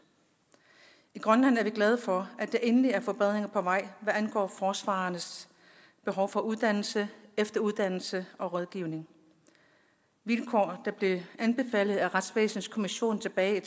i grønland er vi glade for at der endelig er forbedringer på vej hvad angår forsvarernes behov for uddannelse efteruddannelse og rådgivning vilkår der blev anbefalet af retsvæsenskommissionen tilbage